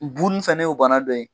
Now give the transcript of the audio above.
Bunisanen y'o bana dɔ ye.